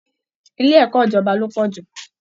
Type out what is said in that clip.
Ilé ẹ̀kọ́ ìjọba ló pọ̀ jù